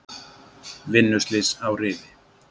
Vinnuslys á Rifi